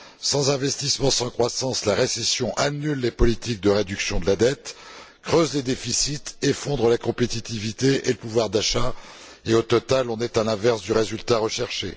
Sans investissements, sans croissance, la récession annule les politiques de réduction de la dette, creuse les déficits, fait s'effondrer la compétitivité et le pouvoir d'achat et, au total, on est à l'inverse du résultat recherché.